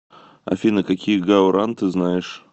афина какие гао ран ты знаешь